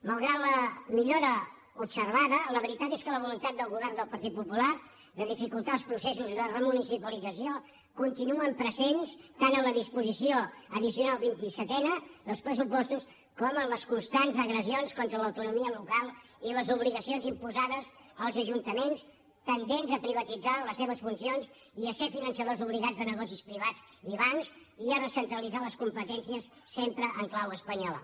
malgrat la millora observada la veritat és que la voluntat del govern del partit popular de dificultar els processos de remunicipalització continua present tant en la disposició addicional vint i setena dels pressupostos com en les constants agressions contra l’autonomia local i les obligacions imposades als ajuntaments tendents a privatitzar les seves funcions i a ser finançadors obligats de negocis privats i bancs i a recentralitzar les competències sempre en clau espanyola